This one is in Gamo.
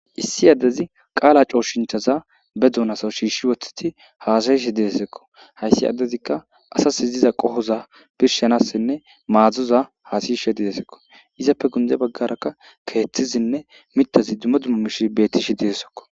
Issi addezi qaala cooshinchaza be duunasa shiishshi wothiti haasayishe didesekko hayssi addezikka asas iziza qohoza birshanassinne maadzdzuza haasishe didesekko izappe gunde baggarakka keeththizinne mitazi dumo dummo mish bettishe didessekko.